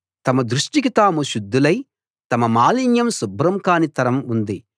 తమ దృష్టికి తాము శుద్ధులై తమ మాలిన్యం శుభ్రం కానీ తరం ఉంది